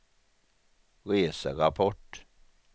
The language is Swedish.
reserapport